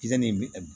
in bɛ